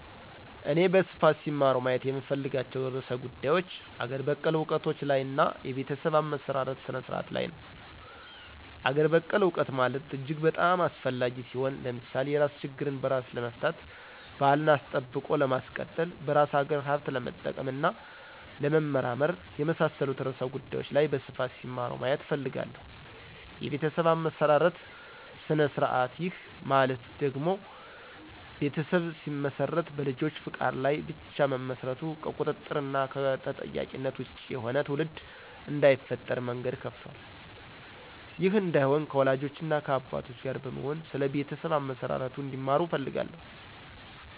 እኔ በስፋት ሲማሩ ማየት የምፈልጋቸው ርዕሰ ጉዳዮች አገር በቀል እውቀቶች ላይ እና የቤተሰብ አመሰራረት ስነ-ስርዓቱ ላይ ነው። -አገር በቀል እውቀት ማለት እጅግ በጣም አስፈላጊ ሲሆን። ለምሳሌ የራስ ችግርን በራስ ለመፍታት፣ ባህልን አስጠብቆ ለማስቀጠል፣ በራስ አገር ሀብት ለመጠቀም እና ለመመራመር፣ የመሳሠሉት ርዕሰ ጉዳዮች ላይ በስፋት ሲማሩ ማየት እፈልጋለሁ። -የቤተሠብ አመሠራርት ስነ-ስርዐቱ፦ ይህ ማለት ቤተሠብ ሲመሰረት በልጆች ፈቃድ ላይ ብቻ መመስረቱ ከቁጥጥር እና ከተጠያቂነት ወጭ የሆነ ትውልድ እዳይፈጠር መንገድ ከፍቷል። ይህ እዳይሆን ከወላጆች እና ከአባቶች ጋር በመሆን ስለ ቤተሠብ አመሠራርቱ እንዲማሩ እፈልጋለሁ